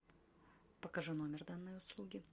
покажи номер данной услуги